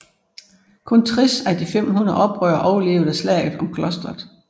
Kun 60 af de 500 oprørere overlevede slaget om klosteret